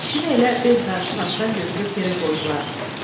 Kişini elə bez qarışıq atdan götürüb yerə qoydular.